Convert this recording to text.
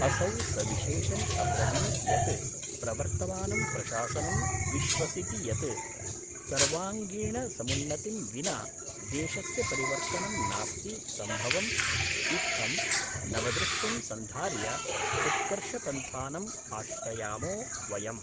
असौ सविशेषं अब्रवीत् यत् प्रवर्तमानं प्रशासनं विश्वसिति यत् सर्वांगीणसमुन्नतिं विना देशस्य परिवर्तनं नास्ति सम्भवम्। इत्थं नवदृष्टिं सन्धार्य उत्कर्षपन्थानं आश्रयामो वयम्।